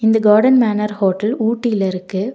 இந்த garden manor hotel ஊட்டில இருக்கு.